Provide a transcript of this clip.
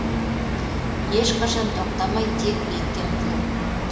ешқашан тоқтамай тек биікке ұмтылу